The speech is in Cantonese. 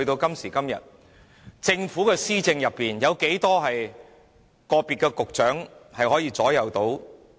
今時今日，政府有多少局長可以左右施政？